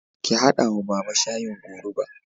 Ki haɗa wa Baba. shayin goruba